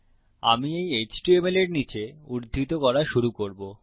আমি এই HTML এর নীচে উদ্ধৃত করা শুরু করবো